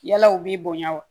Yala u b'i bonya wa